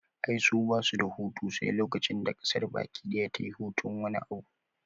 Ai su basu da hutu sai lokacin da ƙasar baki daya tayi hutun wani abu